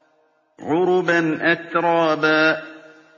عُرُبًا أَتْرَابًا